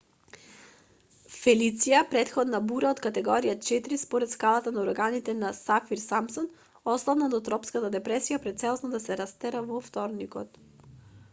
фелиција претходно бура од категорија 4 според скалата на урагани на сафир-симпсон ослабна до тропска депресија пред целосно да се растера во вторникот